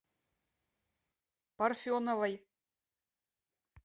парфеновой